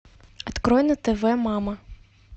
открой на тв мама